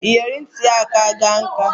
Iyori nit ya akana nka